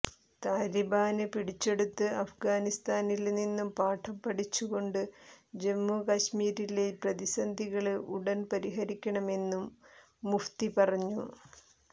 താലിബാന് പിടിച്ചെടുത്ത് അഫ്ഗാനിസ്ഥാനില് നിന്നും പാഠം പഠിച്ചുകൊണ്ട് ജമ്മികശ്മീരിലെ പ്രതിസന്ധികള് ഉടന് പരിഹരിക്കണമെന്നും മുഫ്തി പറഞ്ഞു